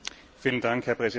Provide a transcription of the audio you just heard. Herr Präsident!